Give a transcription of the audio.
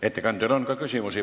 Ettekandjale on ka küsimusi.